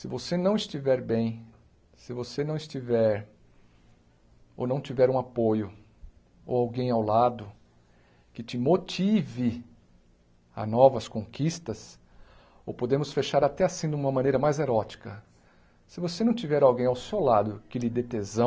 Se você não estiver bem, se você não estiver ou não tiver um apoio ou alguém ao lado que te motive a novas conquistas, ou podemos fechar até assim, de uma maneira mais erótica, se você não tiver alguém ao seu lado que lhe dê tesão,